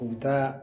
U bɛ taa